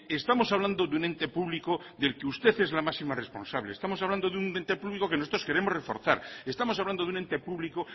estamos hablando de un ente público del que usted es la máxima responsable estamos hablando de un ente público que nosotros queremos reforzar estamos hablando de un ente público